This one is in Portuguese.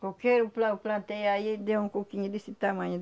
Qualquer, o pla eu plantei aí ele deu um coquinho desse tamanho.